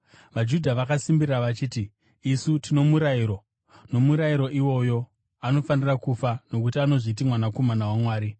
VaJudha vakasimbirira vachiti, “Isu tino murayiro, nomurayiro iwoyo, anofanira kufa, nokuti anozviti Mwanakomana waMwari.”